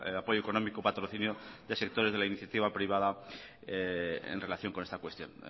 apoyo económico patrocinio de sectores de la iniciativa privada en relación con esta cuestión